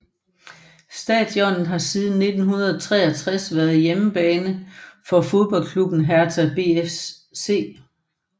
Stadionet har siden 1963 været hjemmebane for fodboldklubben Hertha BSC